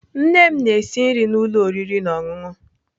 Nne m na-esi nri na ụlọ oriri na ọṅụṅụ.